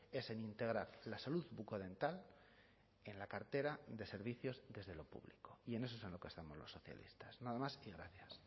es en integrar la salud bucodental en la cartera de servicios desde lo público y en eso es en lo que estamos los socialistas nada más y gracias